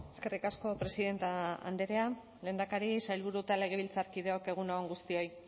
eskerrik asko presidente andrea lehendakari sailburu eta legebiltzarkideok egun on guztioi